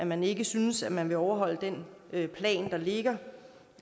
man ikke synes at man vil overholde den plan der ligger